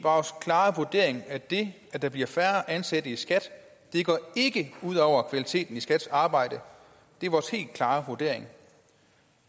klare vurdering at det at der bliver færre ansatte i skat ikke går ud over kvaliteteten i skats arbejde det er vores helt klare vurdering